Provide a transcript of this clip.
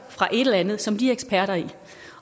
fra et eller andet som de er eksperter i